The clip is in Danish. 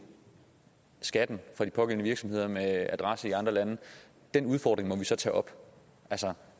skatten fra de pågældende virksomheder med adresse i andre lande må vi så tage op